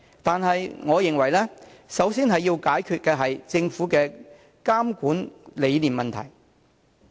但是，我認為首先要解決的問題是政府的監管理念。